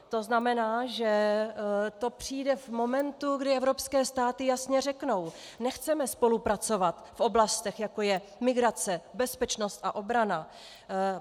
To znamená, že to přijde v momentě, kdy evropské státy jasně řeknou: Nechceme spolupracovat v oblastech, jako je migrace, bezpečnost a obrana.